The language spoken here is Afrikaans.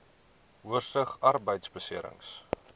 oorsig arbeidbeserings